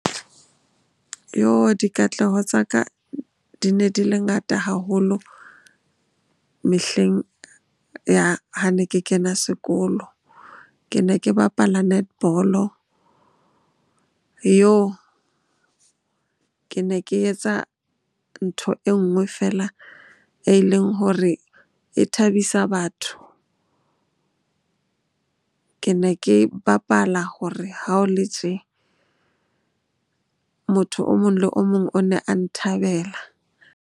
Dikatleho tsa ka di ne di le ngata haholo mehleng ya ha ne ke kena sekolo. Ke ne ke bapala netball-o. Ke ne ke etsa ntho e nngwe feela e leng hore e thabisa batho. Ke ne ke bapala hore ha o le tje, motho o mong le o mong o ne a nthabela.